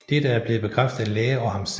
Dette er blevet bekræftet af læger og ham selv